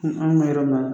an ka yɔrɔ